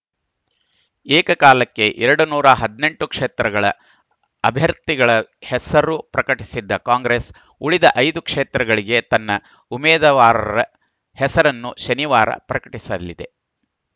ಏಕಕಾಲಕ್ಕೆ ಎರಡನೂರ ಹದಿನೆಂಟು ಕ್ಷೇತ್ರಗಳ ಅಭ್ಯರ್ಥಿಗಳ ಹೆಸರು ಪ್ರಕಟಿಸಿದ್ದ ಕಾಂಗ್ರೆಸ್‌ ಉಳಿದ ಐದು ಕ್ಷೇತ್ರಗಳಿಗೆ ತನ್ನ ಉಮೇದವಾರರ ಹೆಸರನ್ನು ಶನಿವಾರ ಪ್ರಕಟಿಸಲಿದೆ